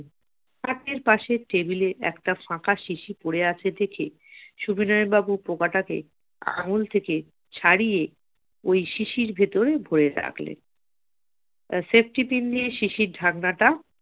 খাটের পাশের table এ একটা ফাঁকা শিশি পড়ে আছে দেখে সুবিনয় বাবু পোকাটাকে আঙ্গুল থেকে ছাড়িয়ে ওই শিশির ভেতরে ভরে রাখলেন safety pin দিয়ে শিশির ঢাকনাটা